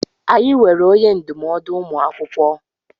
Anyị nweere onye ndụmọdụ ụmụ akwụkwọ.